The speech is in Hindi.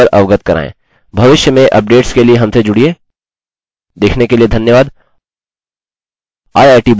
यदि आपके पास कोई प्रश्न है या मुझसे किसी भी चीज़ का विस्तार चाहते हैं कृपया मुझे केवल अवगत कराएँ